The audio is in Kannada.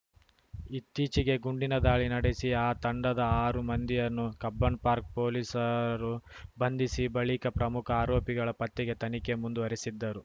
ಇತ್ತೀಚಿಗೆ ಗುಂಡಿನ ದಾಳಿ ನಡೆಸಿ ಆ ತಂಡದ ಆರು ಮಂದಿಯನ್ನು ಕಬ್ಬನ್‌ಪಾರ್ಕ್ ಪೊಲೀಸರು ಬಂಧಿಸಿ ಬಳಿಕ ಪ್ರಮುಖ ಆರೋಪಿಗಳ ಪತ್ತೆಗೆ ತನಿಖೆ ಮುಂದುವರೆಸಿದ್ದರು